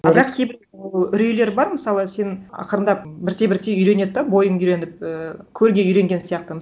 а бірақ кейбір үрейлер бар мысалы сен ақырындап бірте бірте үйренеді да бойың үйреніп ііі көлге үйренген сияқты